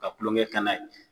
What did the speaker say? Ka tulonkɛ kɛ n'a ye